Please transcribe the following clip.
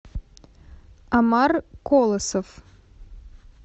омар колосов